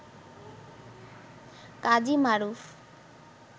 Kazi Maruf